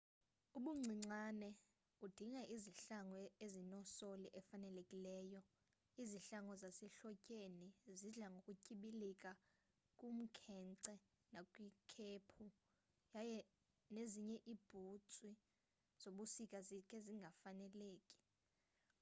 ubuncinane udinga izihlangu ezinesoli efanelekileyo izihlangu zasehlotyeni zidla ngokutyibilika kumkhenkce nakwikhephu yaye nezinye iibhutsi zobusika zikhe zingafaneleki